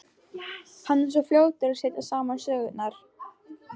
Hann er svo fljótur að setja saman sögurnar.